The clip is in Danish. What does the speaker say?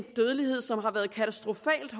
dødelighed som har været katastrofalt